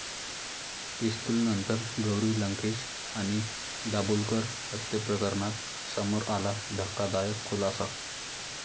पिस्तूलनंतर गौरी लंकेश आणि दाभोलकर हत्येप्रकरणात समोर आला धक्कादायक खुलासा